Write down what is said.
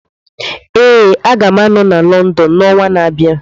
Ee, Aga m anọ na London n'ọnwa na-abịa.